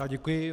Já děkuji.